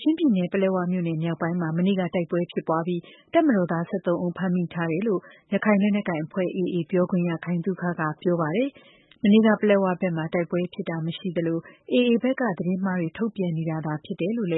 ချင်းပြည်နယ်၊ ပလက်ဝမြို့နယ် မြောက်ပိုင်းမှာ မနေ့ကတိုက်ပွဲဖြစ်ပွားပြီး တပ်မတော်သား ၁၃ ဦး ဖမ်းမိထားတယ်လို့ ရခိုင်လက်နက်ကိုင်အဖွဲ့ AA ပြောခွင့်ရ ခိုင်သုခက ပြောပါတယ်။ မနေ့က ပလက်ဝဘက်မှာ တိုက်ပွဲဖြစ်တာ မရှိသလို AA ဘက်က သတင်းအမှားတွေ ထုတ်ပြန်နေတာဖြစ်တယ်လို့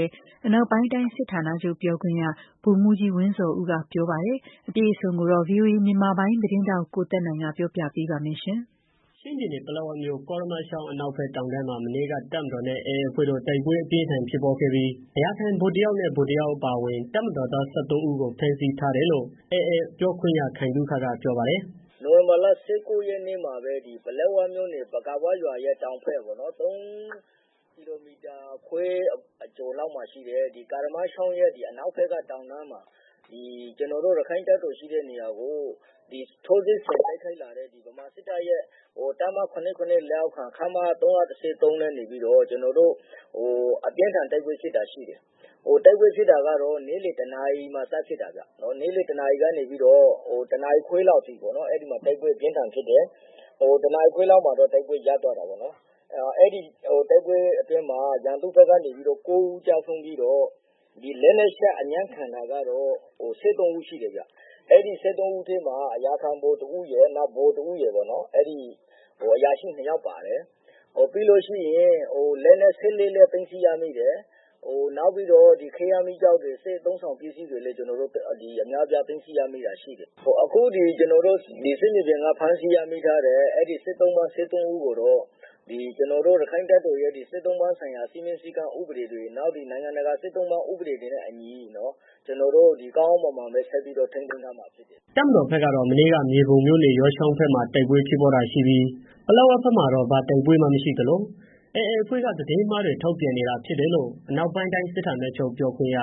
အနောက်ပိုင်းတိုင်းစစ်ဌာနချုပ် ပြောခွင့်ရ ဗိုလ်မှူးကြီး ဝင်းဇော်ဦးက ပြောပါတယ်။ အပြည့်အစုံကိုတော့ VOA မြန်မာပိုင်းသတင်းထောက် ကိုသက်နိုင်က ပြောပြပေးမှာပါ။ ချင်းပြည်နယ်၊ ပလက်ဝမြို့၊ ကာရမချောင်းအနောက်ဖက် တောင်တန်း မှာ မနေ့က တပ်မတော်နဲ့ AA အဖွဲ့တို့ တိုက်ပွဲ အပြင်းအထန်းဖြစ်ပွားခဲ့ပြီး အရာခံဗိုလ်တစ်ယောက်နဲ့ ဗိုလ်တစ်ယောက် အပါဝင် တပ်မတော်သား ၁၃ဦးကို ဖမ်းဆီးထားတယ်လို့ AA အဖွဲ့ ပြောခွင့်ရ ခိုင်သုခက ပြောပါတယ်။ "နိုင်ဝင်ဘာလ ၁၉ ရက်နေ့မှာပဲ ပလက်ဝမြို့နယ် ပကာဝ ရွာရဲ့တောင်ဘက် ၃ကီလိုမီတာခွဲအကျော်လောက် မှာရှိတဲ့ ကာရမချောင်းရဲ့ အနောက်ဖက်ကေ တာင်တန်းမှာ ကျနော်တို့ ရခိုင့်တပ်တော် ရှိတဲ့ နေရာကို ထိုးစစ်ဆင် တိုက်ခိုက်လာတဲ့ ဗမာစစ်တပ်ရဲ့ တပ်မ ၇၇ လက်အောက်ခံ ခမရ ၃၁၃နဲ့ နေပြီးတော့ ကျနော်တို့ ရခိုင့်တပ်တော်နဲ့ အပြင်းအထန် တိုက်ပွဲဖြစ်တာ ရှိတယ်။ တိုက်ပွဲ ဖြစ်တာကတော့ နေ့လည် တစ်နာရီမှာ စဖြစ်တာပါ။ နေ့လည်တစ်နာရီကနေပြီးတော့ တစ်နာရီခွဲလောက်အထိ တိုက်ပွဲအပြင်းအထန်ဖြစ်တယ်။ တစ်နာရီခွဲ လောက်မှာတော့ တိုက်ပွဲရပ်သွားတာပေါ့နော် အဲဒီတိုက်ပွဲအတွင်းမှာ ရန်သူ့ဘက်ကနေပြီးတော့ ၉ဦး ကျဆုံးပြီးတော့ ဒီလက်နက်ချ အညံ့ခံတာကတော့ ၁၃ဦးရှိတယ်ဗျ။ အဲဒီ ၁၃ဦးထဲမှာ အရာခံဗိုလ် တစ်ဦးရယ် နောက် ဗိုလ်တစ်ဦးရယ်ပေါ့နော်။ အရာရှိနှစ်ယောက် ပါတယ်။ ပြီးတော့ လက်နက် ၁၃လက် သိမ်းဆီးရမိတယ်။ နောက်ပြီးတော့ ခဲယမ်း မီးကျောက်တွေ စစ်အသုံးဆောင်ပစ္စည်းတွေ သိမ်းဆီးရမိတာရှိတယ်။ အခုကျနော်တို့ စစ်မြေပြင်က ဖမ်းဆီးရမိထားတဲ့ စစ်သုံ့ပန်း ၁၃ဦးကို ကျနော်တို့ ရခိုင့်တပ်တော်ရဲ့ စစ်သုံ့ပန်းဆိုင်ရာ စည်းမျဉ်းစည်းကမ်းဥပဒေတွေနဲ့ နောက်နိုင်ငံတကာစစ်သုံ့ပန်း ဥပဒေတွေနဲ့အညီ ကောင်းကောင်းမွန်မွန် ဆက်ပြီးတော့ ထိန်းသိမ်းထားမှာဖြစ်တယ်ဗျာ။" တပ်မတော် ဘက်ကတော့ မနေ့က မြေပုံမြို့နယ်၊ ယောချောင်းဘက်မှာ တိုက်ပွဲဖြစ်ပွားတာရှိခဲ့ပြီး ပလက်ဝ ဘက်မှာတော့ ဘာတိုက်ပွဲမှမရှိသလို AA အဖွဲ့က သတင်းအမှားတွေ ထုတ်ပြန်နေတာဖြစ်တယ်လို့ အနောက်ပိုင်း တိုင်း စစ်ဌာနချုပ် ပြောခွင့်ရ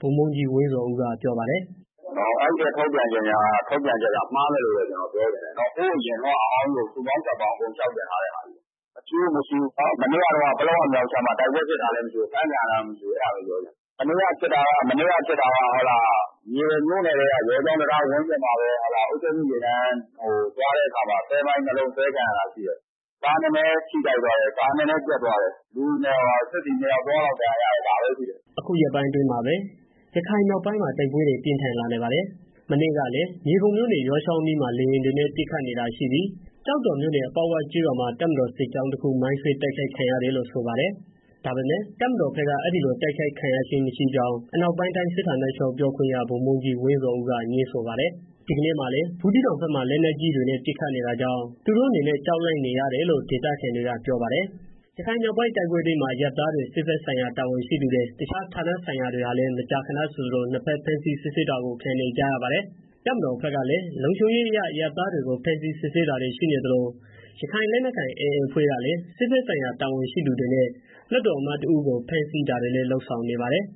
ဗိုလ်မှူးကြီး ဝင်းဇော်ဦးက ပြောပါတယ်။ "အဲဒီထုတ်ပြန်ချက်က မှားတယ်လို့ပဲပြောချင်တယ်။ ဟိုးအရင်တုန်းက အမှားကြီးကို စုပေါင်းစပ်ပေါင်း အကုန်လျောက်တင်ထားတာ။ မရှိဘူး မရှိဘူး မနေ့ကတုန်းက ပလက်ဝမြောက်ပိုင်းမှာတိုက်ပွဲဖြစ်တာလည်း မရှိဘူး အဖမ်းခံရတာလည်း မရှိဘူး။ မနေ့က တိုက်ပွဲဖြစ်တာက မြေပုံမြို့နယ်ထဲက ယောချောင်းတံတား ဝန်းကျင်မှာပဲ အုပ်ချုပ်ရေးမှူးယာဉ်တန်း ဆွဲမိုင်း ၂လုံးအဆွဲခံရတာရှိတယ်။ ကားနည်းနည်း ထိခိုက်သွားတယ် ပျက်သွားတယ်။ စစ်သည် နှစ်ယောက် ၃ယောက်လောက် ဒဏ်ရာရတယ် ဒါပဲရှိတယ်။ " အခုရက်ပိုင်းအတွင်းမှာပဲ ရခိုင်မြောက်ပိုင်းမှာ တိုက်ပွဲတွေ ပြင်းထန်လာနေပါတယ်။ မနေ့ကလည်း မြေပုံမြို့နယ်၊ ယောချောင်း အနီးမှာ လေယာဉ်တွေနဲ့ ပစ်ခတ်နေတာရှိပြီး ကျောက်တော်မြို့နယ်၊ ပေါက်ဝကျေးရွာမှာ တပ်မတော် စစ်ကြောင်းတစ်ခု မိုင်းဆွဲ တိုက်ခိုက်ခံခဲ့ရတယ်လို့ ဆိုပါတယ်။ ဒါပေမယ့် တပ်မတော်ဘက်က အဲဒီလို တိုက်ခိုက်ခံရခြင်းမရှိကြောင်း အနောက်ပိုင်းတိုင်း စစ်ဌာနချုပ် ပြောခွင့်ရ ဗိုလ်မှူးကြီး ဝင်းဇော်ဦးက ငြင်းဆိုပါတယ်။ ဒီနေ့မှာလည်း ဘူးသီးတောင်ဘက်မှာ လက်နက်ကြီးတွေနဲ့ ပစ်ခတ်နေတာကြောင့် သူတို့အနေနဲ့ ကြောက်လန့်နေရတယ်လို့ ဒေသခံတွေက ပြောပါတယ်။ ရခိုင်မြောက်ပိုင်းတိုက်ပွဲအတွင်းမှာ အရပ်သားတွေ စစ်ဘက်ဆိုင်ရာတာဝန်ရှိသူတွေ တစ်ခြားဌာဆိုင်ရာဝန် ထမ်းတွေဟာလည်း မကြာခဏဆိုသလို နှစ်ဘက် ဖမ်းဆီးစစ်ဆေးတာတွေကို ခံနေကြရပါတယ်။ တပ်မတော်ဖက်ကလည်း လုံခြုံရေးအရ အရပ်သားတွေကို ဖမ်းဆီးစစ်ဆေးတာတွေ ရှိနေသလို ရခိုင်လက်နက်ကိုင် AA အဖွဲ့ကလည်း စစ်ဖက်ဆိုင်ရာ တာဝန်ရှိသူတွေနဲ့ လွှတ်တော် အမတ်တစ်ဦး ကိုလည်းဖမ်းဆီးထားတာတွေ လုပ်ဆောင်နေပါတယ်